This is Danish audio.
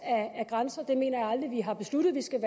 af grænserne det mener jeg aldrig vi har besluttet at vi skal